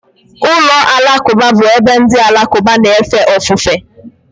Ụlọ alakụba bụ ebe ndị Alakụba na-efe ofufe.